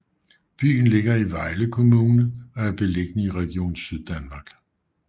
Byen ligger i Vejle Kommune og er beliggende i Region Syddanmark